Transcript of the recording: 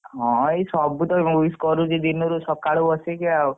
ହଁ ଏଇ ସବୁ ତ wish କରୁଛି ଦିନ ରୁ ସକାଳୁ ବସିକି ଆଉ।